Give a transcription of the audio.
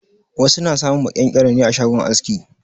Wasu na samun maƙyan-ƙyaro ne a shagon aski.